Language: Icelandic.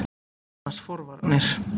Þetta nefnast forvarnir.